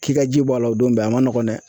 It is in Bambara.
K'i ka ji bɔ a la o don bɛɛ a ma nɔgɔn dɛ